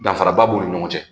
Danfaraba b'u ni ɲɔgɔn cɛ